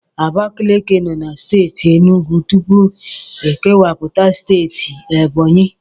Abakaliki nọ na Steeti Enugwu tupu ekewapụta steeti Ebọnyi.